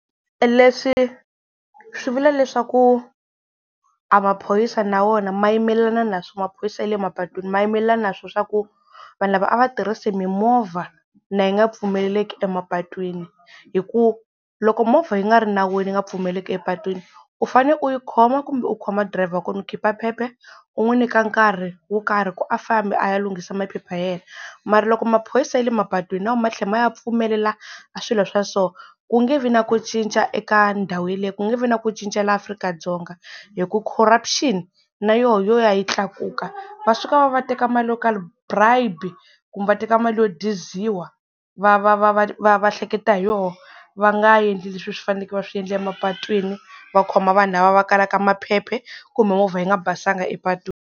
Leswi swi vula leswaku a maphorisa na wona ma yimelelana na maphorisa ya le emapatwini ma yimelelana na swo swa ku vanhu lava a va tirhisi mimovha na yi nga pfumeleleki emapatwini hi ku loko movha yi nga ri nawini yi nga pfumeleleki epatwini u fane u yi khoma kumbe u khoma driver wa kona u khipha phepha u u n'wi nyika nkarhi wo karhi ku a fambi a ya lunghisa maphepha ya yena mara loko maphorisa ya le mapatwini na wo ma tlhela ma ya pfumelela a swilo swa so ku nge vi na ku cinca eka ndhawu yeleyo ku nge vi na ku cinca la Afrika-Dzonga hi ku corruption na yoho yo ya yi tlakuka, va suka va va teka mali yo karhi bribe kumbe va teka mali yo diziwa va va va va va hleketa hi yona va nga endli leswi swi faneleke va swi endla emapatwini va khoma vanhu lava va kalaka maphephe kumbe movha yi nga basanga epatwini.